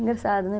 Engraçado, né?